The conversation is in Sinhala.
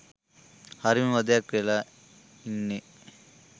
හරිම වදයක් වෙලා ඉන්නේ.